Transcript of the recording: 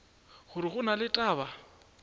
gore go na le taba